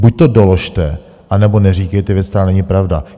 Buď to doložte, anebo neříkejte věc, která není pravda.